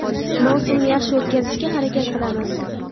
Mavsumni yaxshi o‘tkazishga harakat qilamiz.